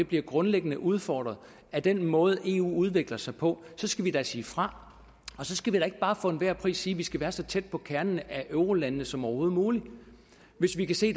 bliver grundlæggende udfordret af den måde eu udvikler sig på så skal vi da sige fra og så skal vi da ikke bare for enhver pris sige at vi skal være så tæt på kernen af eurolandene som overhovedet muligt hvis vi kan se